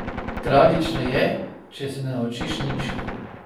Tragično je, če se ne naučiš nič.